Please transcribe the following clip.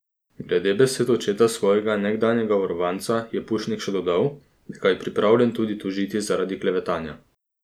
Glede besed očeta svojega nekdanjega varovanca je Pušnik še dodal, da ga je pripravljen tudi tožiti zaradi klevetanja.